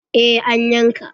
Eh, an yanka.